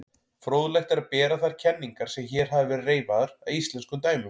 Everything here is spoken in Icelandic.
Fróðlegt er að bera þær kenningar sem hér hafa verið reifaðar að íslenskum dæmum.